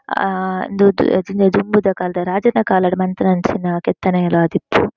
ಆ ಇಂದು ದುಂಬುದ ಕಾಲದ ರಾಜೆರ್ನ ಕಾಲಡ್ ಮಲ್ತಿನಂಚಿನ ಕೆತ್ತನೆಲು ಆದಿಪ್ಪು.